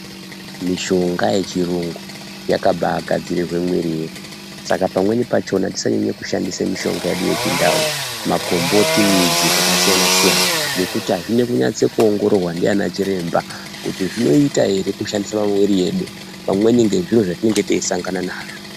Mishonga yechirungu yakabagadzirirwa mwiri dzedu saka pamweni pachona tisanyanye kushandise mitombo yedu yechintau makomboti midzi dzakasiyana siyana .